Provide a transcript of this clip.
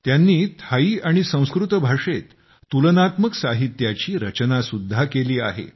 त्यांनी थाई आणि संस्कृत भाषेत तुलनात्मक साहित्याची रचना सुद्धा केली आहे